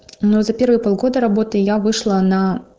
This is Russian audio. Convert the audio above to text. ну за первые полгода работы я вышла на